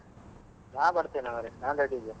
ನಾ ಬರ್ತೀನೆ ಮಾರ್ರೆ ನಾನ್ ready ಇದ್ದೇನೆ.